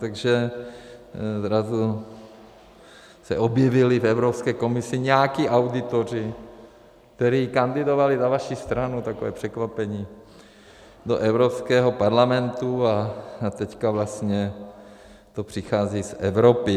Takže zrazu se objevili v Evropské komisi nějací auditoři, kteří kandidovali za vaši stranu - takové překvapení - do Evropského parlamentu, a teďka vlastně to přichází z Evropy.